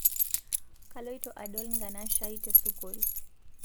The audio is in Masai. Kaloito adol nkanashai tesukul